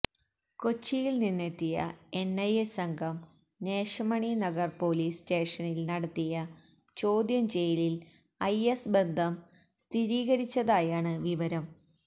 കൊച്ചിയില് നിന്നെത്തിയ എന്ഐഎ സംഘം നേശമണി നഗര് പൊലീസ് സ്റ്റേഷനില് നടത്തിയ ചോദ്യം ചെയ്യലില് ഐഎസ് ബന്ധം സ്ഥിരീകരിച്ചതായാണ് വിവരം